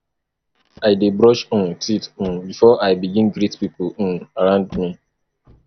i dey brush um teeth um before i begin greet pipo um around me